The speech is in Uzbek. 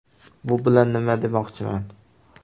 Bu bilan nima demoqchiman?